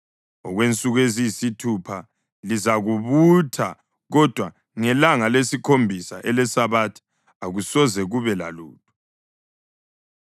Okwensuku eziyisithupha lizakubutha, kodwa ngelanga lesikhombisa eleSabatha akusoze kube lalutho.”